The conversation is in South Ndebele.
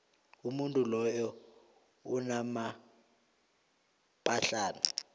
umuntu loya unamaphahlana